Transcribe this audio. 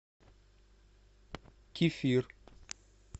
кефир